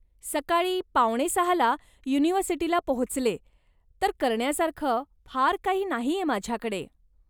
सकाळी पावणे सहा ला युनिव्हर्सिटीला पोहोचले, तर करण्यासारखं फार काही नाहीये माझ्याकडे.